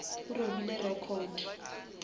o robile record